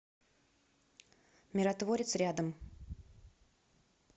миротворец рядом